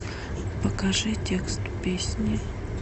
покажи текст песни